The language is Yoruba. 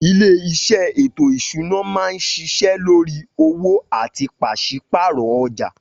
Ilé isé ètò ìṣúná máa ń ṣiṣẹ́ lórí owó àti pàsípààrò ọjà